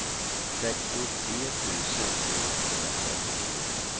sextiotre tusen sjuhundratrettionio